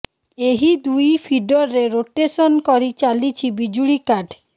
ଏହି ଦୁଇ ଫିଡରରେ ରୋଟେସନ୍ କରି ଚାଲିଛି ବିଜୁଳି କାଟ୍